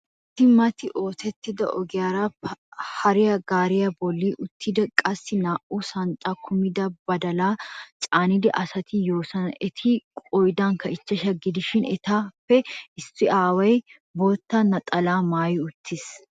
Issi mata oottido ogiyaara paraa gaariya bolli uttidi qassikka naa'u shanxxaa kumida badalaa caanida asati yoosona. Eti qoodankka uchchashsha gidishin etappe issi aaway bootta naxalaa maayi uttiis.